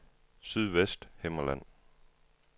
Sydvesthimmerland